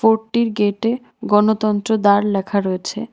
রোডটির গেটে গণতন্ত্র দার লেখা রয়েছে।